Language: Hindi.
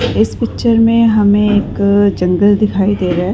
इस पिक्चर में हमें एक जंगल दिखाई दे रहा है।